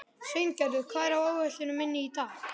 Sveingerður, hvað er á áætluninni minni í dag?